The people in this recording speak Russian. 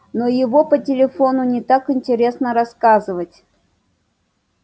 но его по телефону не так интересно рассказывать